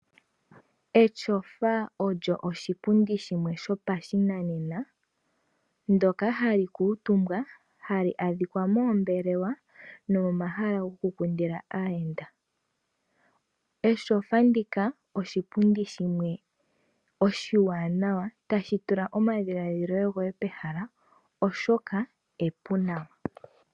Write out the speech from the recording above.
Etyofa olyo oshipundi shimwe shopashinanena ndyoka hali kuutumbwa hali adhika moombelewa nomomahala gokukundila aayenda. Etyofa ndika oshipundi shimwe oshiwanawa tashi tula omadhilaadhilo goye pehala oshoka epu nawa.